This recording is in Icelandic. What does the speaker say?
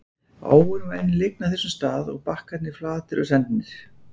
Áin var enn lygn á þessum stað og bakkarnir flatir og sendnir.